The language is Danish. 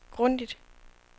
grundigt